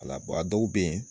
A la A bɔw be yen